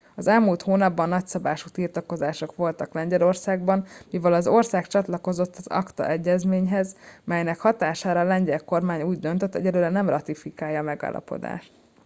az elmúlt hónapban nagyszabású tiltakozások voltak lengyelországban mivel az ország csatlakozott az acta egyezményhez melynek hatására a lengyel kormány úgy döntött egyelőre nem ratifikálja a megállapodást